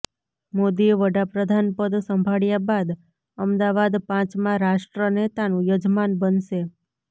મોદીએ વડા પ્રધાનપદ સંભાળ્યા બાદ અમદાવાદ પાંચમા રાષ્ટ્રનેતાનું યજમાન બનશે